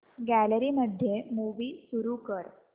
gallery मध्ये movie सुरू कर